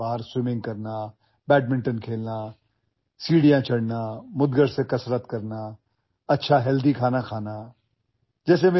त्यापेक्षा मला मोकळ्यावर पोहायला बॅडमिंटन खेळायला पायऱ्या चढायला मुदगल घेऊन व्यायाम करायला चांगले आरोग्यपूर्ण जेवण जेवायला अधिक आवडते